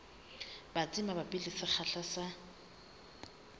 batsi mabapi le sekgahla sa